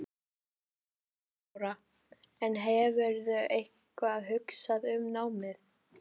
Eva Bergþóra: En hefurðu eitthvað hugsað um námið?